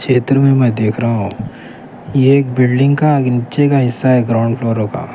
یہ بہتر میں میں دیکھ رہا ہوں یہ ایک بلڈنگ کا نیچے کا حصہ ہے گراؤنڈ ٹور کا.